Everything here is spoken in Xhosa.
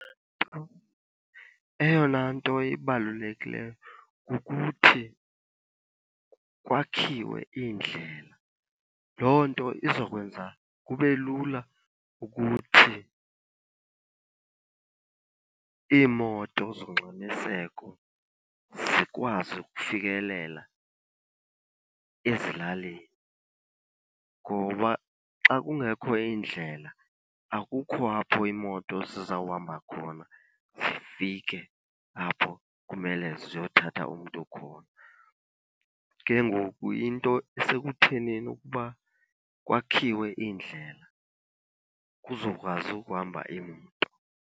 Eyona nto ibalulekileyo kukuthi kwakhiwe iindlela. Loo nto izokwenza kube lula ukuthi iimoto zongxamiseko zikwazi ukufikelela ezilalini, ngoba xa kungekho iindlela akukho apho iimoto zizawuhamba khona zifike apho kumele ziyothatha umntu khona. Ke ngoku into isekuthenini ukuba kwakhiwe iindlela kuzokwazi ukuhamba iimoto.